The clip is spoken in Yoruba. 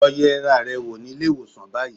Lọ yẹra rẹ wò ní ilé-ìwọ̀sàn báyìí